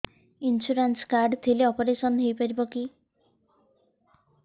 insurance card ଥିଲେ operation ହେଇପାରିବ କି